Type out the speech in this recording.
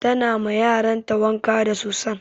Ta na ma yaran ta wanka da soson.